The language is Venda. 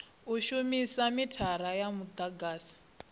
u shumisa mithara wa mudagasi